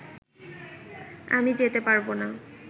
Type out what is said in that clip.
আমি যেতে পারব না